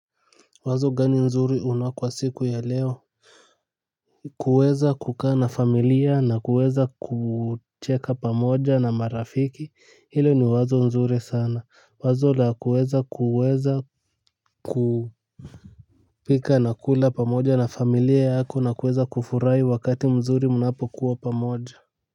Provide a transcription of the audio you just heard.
Wazo gani nzuri una kwa siku ya leo kuweza kukaa na familia na kuweza kucheka pamoja na marafiki hilo ni wazo mzuri sana wazo la kuweza kupika na kula pamoja na familia yako na kuweza kufurahi wakati mzuri mnapokuwa pamoja.